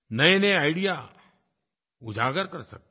नयेनये आईडीईए उजागर कर सकते हैं